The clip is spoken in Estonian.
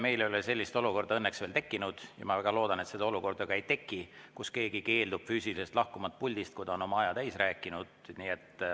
Meil ei ole sellist olukorda õnneks veel tekkinud ja ma väga loodan, et seda olukorda ka ei teki, kus keegi keeldub füüsiliselt lahkumast puldist, kui ta on oma aja täis rääkinud.